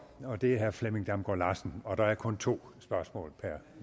og det er herre flemming damgaard larsen og der er kun to spørgsmål per